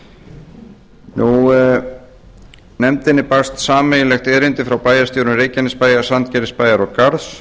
sameiginlegt erindi um málið barst frá bæjarstjórum reykjanesbæjar sandgerðisbæjar og garðs